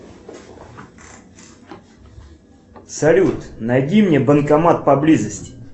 салют найди мне банкомат поблизости